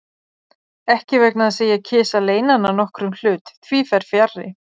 Ekki vegna þess, að ég kysi að leyna hana nokkrum hlut, því fer fjarri.